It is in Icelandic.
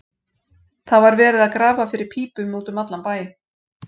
Það var verið að grafa fyrir pípum út um allan bæ.